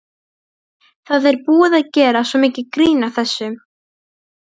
Það er búið að gera svo mikið grín að þessu.